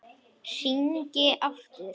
Hringi aftur!